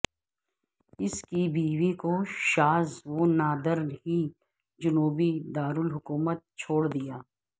اس کی بیوی کو شاذ و نادر ہی جنوبی دارالحکومت چھوڑ دیا